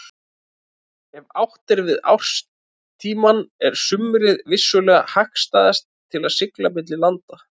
Ef átt er við árstímann er sumarið vissulega hagstæðast til siglinga milli landa.